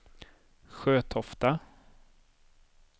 Sjötofta